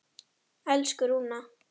Elsku Rúna.